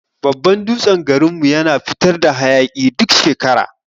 Babban dutsen garin mu yana fitar da hayaki duk shekara.